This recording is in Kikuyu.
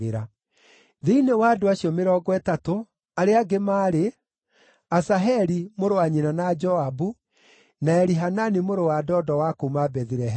Thĩinĩ wa andũ acio Mĩrongo Ĩtatũ, arĩa angĩ maarĩ: Asaheli mũrũ wa nyina na Joabu, na Elihanani mũrũ wa Dodo wa kuuma Bethilehemu,